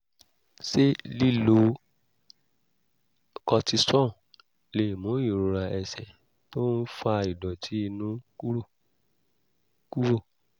ṣé lílo cortisone lè mú ìrora ẹsẹ̀ tó ń fa ìdọ̀tí inú kúrò? kúrò?